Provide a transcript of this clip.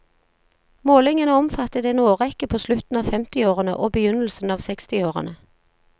Målingene omfattet en årrekke på slutten av femtiårene og begynnelsen av sekstiårene.